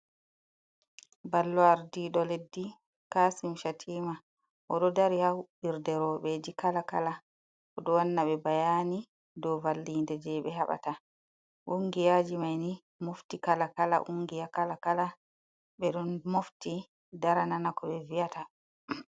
Ballo Aardiiɗo leddi Kasim Shatima, o ɗo dari haa huɓɓirde rooɓeji kala kala, o ɗo wanna ɓe bayani do valliinde je ɓe haɓata, ungiyaji mayni mofti kala kala, ungiya kala kala ɓe o mofti dara nana ko ɓe viyata.